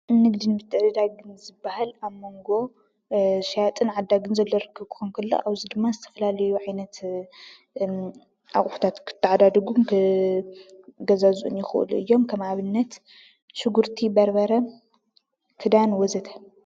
ንግድን ምትዕድዳግን ዝብሃል ኣብ መንጎ ሸያጥን ዓዳግን ዘሎ ርክብ ክኸውን ከሎ፣ ኣብዚ ድማ ዝተፈላለየ ዓይነት ኣቑሑታት ክተዓዳደጉን ክገዛዝኡን ይኽእሉ እዮም፡፡ ከም ኣብነት ሽጉርቲ፣ በርበረ፣ ክዳን ወዘተ ።